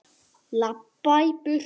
Labba í burtu.